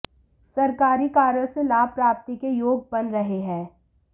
सरकारी कार्यों से लाभ प्राप्ति के योग बन रहे हैं